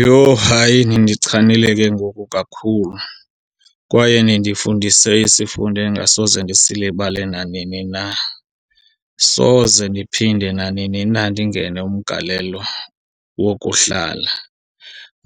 Yho, hayi nindichanile ke ngoku kakhulu kwaye nindifundise isifundo endingasoze ndisilibale nanini na. Soze ndiphinde nanini na ndingene umgalelo wokuhlala.